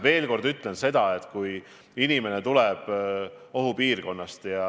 Veel kord ma ütlen seda, et tähelepanelikud peavad olema inimesed, kes tulevad ohupiirkonnast.